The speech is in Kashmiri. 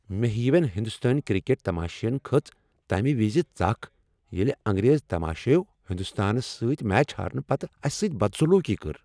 مےٚ ہِیوین ہندوستٲنۍ کرکٹ تماشِین کھٔژ تمہ وز ژکھ ییلِہ انگریز تماشٲیو ہندوستانس سۭتۍ میچ ہارنہٕ پتہٕ اسہ سۭتۍ بدسلوکی کٔر۔